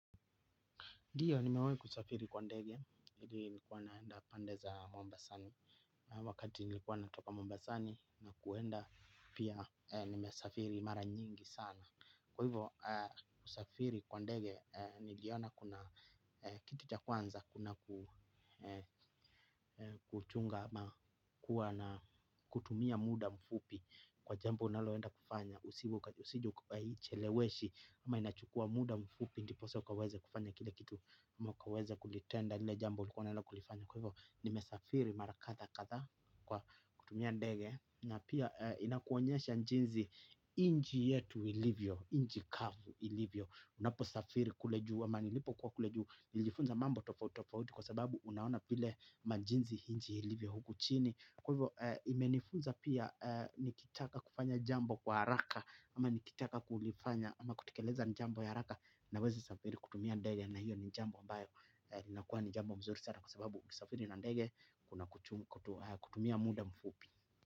Ndiyo nimewahi kusafiri kwa ndege, hili nilikuwa naenda pande za Mombasani. Wakati nilikuwa natoka Mombasani na kuenda pia nimesafiri mara nyingi sana kwa hivo kusafiri kwa ndege niliona kuna kitu cha kwanza kuna kuchunga ma kuwa na kutumia muda mfupi kwa jambo unaloenda kufanya, usije kwa hii cheleweshi ama inachukua muda mfupi, ndiposa ukaweze kufanya kile kitu ama ukaweze kulitenda, lile jambo ulikuwa unaenda kulifanya kwa hivyo, nimesafiri mara kadhaa kadhaa kwa kutumia ndege na pia inakuonyesha jinsi nchi yetu ilivyo, nchi kavu ilivyo unapo safiri kule juu, ama nilipo kwa kule juu, nilifunza mambo tofauti tofauti kwa sababu unaona vile ama jinsi nchi ilivyo huku chini kwa hivyo imenifunza pia nikitaka kufanya jambo kwa haraka ama nikitaka kulifanya ama kutekeleza jambo ya haraka na wezi safiri kutumia ndege na hiyo ni jambo ambayo inakuwa ni jambo mzuri sana kwa sababu kusafiri na ndege kuna kutumia muda mfupi.